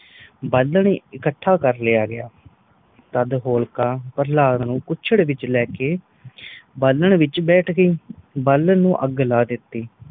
ਬਾਲਨ ਇਕੱਠਾ ਕਰ ਲਯਾ ਗਯਾ ਤਦ ਹੋਲਕਾ ਪ੍ਰਹਲਾਦ ਨੂੰ ਕੁੱਛੜ ਚ ਲੈਕੇ ਬਾਲਨ ਵਿਚ ਬੈਠ ਗਯੀ ਬਾਲਨ ਨੂੰ ਅਗ ਲਾ ਦਿਤੀ